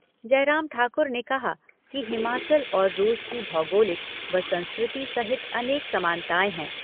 जयराम ठाकुर ने कहा कि हिमाचल और रूस की भौगोलिक व संस्कृति सहित अनेक समानताएँ हैं।